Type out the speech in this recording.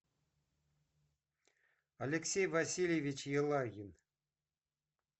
алексей васильевич елагин